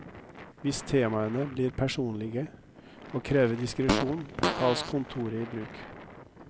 Hvis temaene blir personlige og krever diskresjon, tas kontoret i bruk.